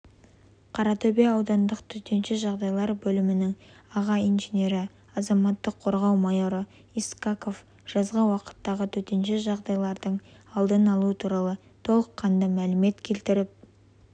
қаратөбе аудандық төтенше жағдайлар бөлімінің аға инженері азаматтық қорғау майоры искаков жазғы уақыттағы төтенше жағдайлардың алдын алу туралы толыққанды мәлімет келтіріп